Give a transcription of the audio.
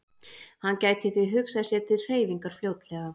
Hann gæti því hugsað sér til hreyfingar fljótlega.